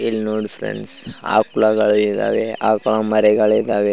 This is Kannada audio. ಇಲ್ನೋಡಿ ಫ್ರೆಂಡ್ಸ್ ಆಕ್ಲಾಗಳ್ ಇದಾವೆ ಆಕ್ಲಾ ಮರಿಗಳ್ ಇದಾವೆ --